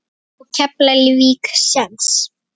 Á Keflavík séns?